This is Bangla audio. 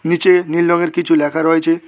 নীচে নীল রংয়ের কিছু লেখা রয়েছে।